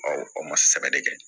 o ma sɛgɛn de kɛ